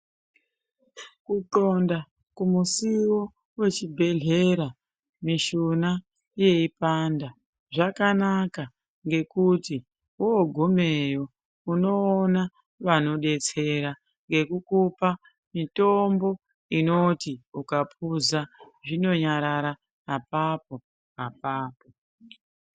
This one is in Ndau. Kuxonda kumusiwo wechibhedhlera mishuna wechipanda zvakanaka ngokuti wogumeyo unoona vanobetsrera ngekukupa mitombo inoti ukapuza zvinonyarara apapo apapo.